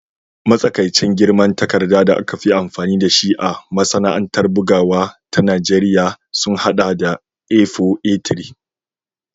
Matsakaicin girman takarda da aka fi amfani da shi a masana'antar bugawa ta Najeriya sun haɗa da A4, A3